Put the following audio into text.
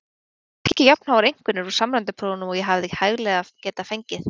Ég fékk ekki jafnháar einkunnir úr samræmdu prófunum og ég hefði hæglega getað fengið.